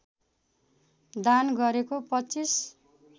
दान गरेको २५